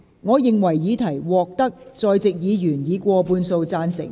我認為議題獲得在席議員以過半數贊成。